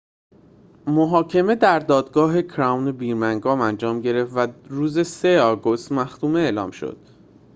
محاکمه در دادگاه کراون برمینگام انجام گرفت و روز ۳ آگوست مختومه اعلام شد